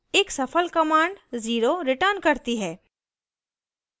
एक सफल command 0 zero returns करती है